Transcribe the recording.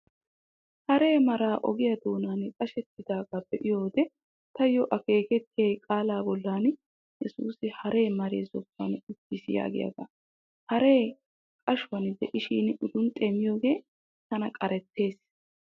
Hare maraa ogiyaa doonan qashettidaagaa be'iyo wode taayyo akeekettiyay qaalaa bollan 'Yesuusi hare maree zokkuwan uttiis' yaagiyaagaa. Haree qashuwan diishin udunxxee miyoogee tana qarettees.